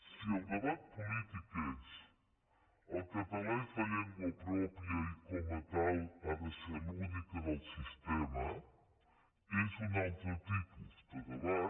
si el debat polític és el català és la llengua pròpia i com a tal ha de ser l’única del sistema és un altre tipus de debat